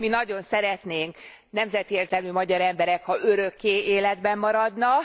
Mi nagyon szeretnénk, nemzeti érzelmű magyar emberek, ha örökké életben maradna.